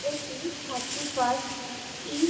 এটি thirty first ইস--